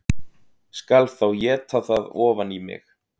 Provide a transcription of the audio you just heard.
Skal þá éta það ofan í mig